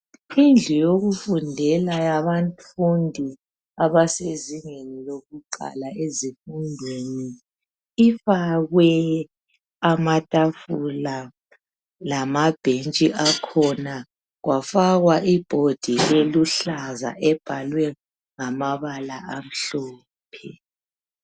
Indlu yokufundela yabafundi abasezingeni lokuqala ezifundweni ifakwe amatafula lamabhentshi akhona kwafakwa I board eluhlaza ebhalwe ngamabala amhlophe